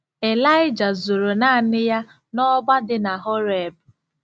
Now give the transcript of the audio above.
Ịlaịja zoro naanị ya n'ọgba dị na Horeb.